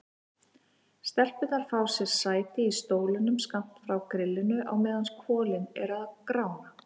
Stelpurnar fá sér sæti í sólstólum skammt frá grillinu á meðan kolin eru að grána.